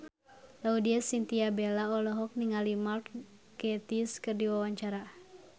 Laudya Chintya Bella olohok ningali Mark Gatiss keur diwawancara